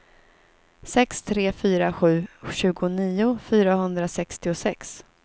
sex tre fyra sju tjugonio fyrahundrasextiosex